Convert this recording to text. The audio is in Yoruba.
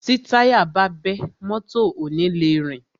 Tí táyà bá bẹ́, mọ́tọ̀ ò ni le rìn.